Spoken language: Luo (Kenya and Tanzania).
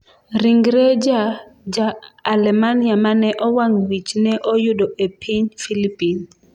Ringre ja Ja-Alemania mane owang' wich ne oyudo e piny Filipin